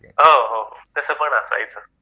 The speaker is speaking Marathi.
हो हो तसं पण असायचं